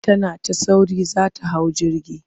Tana ta sauri za ta hau jirgi.